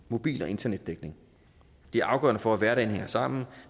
mobil og internetdækning det er afgørende for at hverdagen hænger sammen